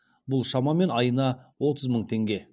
бұл шамамен айына отыз мың теңге